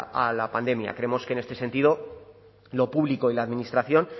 a la pandemia creemos que en este sentido lo público y la administración